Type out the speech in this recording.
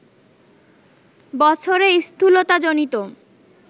বছরে স্থূলতাজনিত